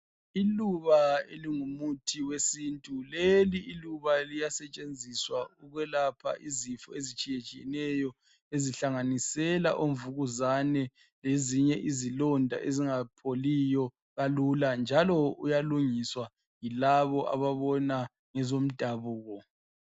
Iluba elingumuthi wesintu. Leli iluba liyasetshenziswa ukwelapha izifo ezitshiyatshiyeneyo ezihlanganisela imvukuzane lezinye izilonda ezingapholiyo kalula njalo uyalungisw ayilabo ababona ngezomdabuko.